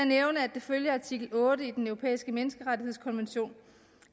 det følger af artikel otte i den europæiske menneskerettighedskonvention